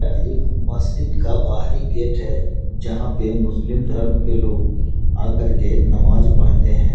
यह एक मस्जिद का बाहरी गेट है जहाँ पे मुस्लिम धर्म के लोग आ करके नमाज पढ़ते हैं |